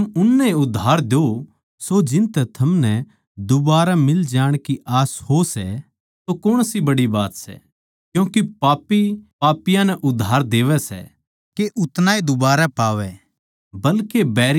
जै थम उननै ए उधार द्यो सो जिनतै थमनै दूबारै मिल जाण की आस हो सै तो कौण सी बड़ी बात सै क्यूँके पापी पापियाँ नै उधार देवै सै के उतनाए दूबारै पावै